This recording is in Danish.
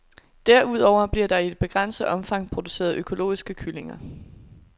Derudover bliver der i et begrænset omfang produceret økologiske kyllinger.